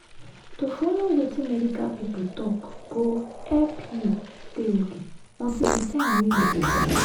to follow wetin medical pipo talk go help you dey ok until the time wey u go born.